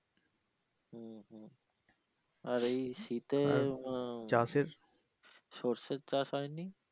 আর এই শীতে চাষের সরষের চাষ হয়নি?